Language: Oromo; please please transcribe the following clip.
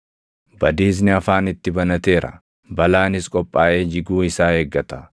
Badiisni afaan itti banateera; balaanis qophaaʼee jiguu isaa eeggata.